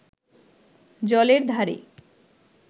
জলের ধারে